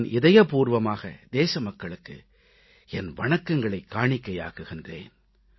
நான் இதயப்பூர்வமாக தேச மக்களுக்கு என் வணக்கங்களைக் காணிக்கையாக்குகிறேன்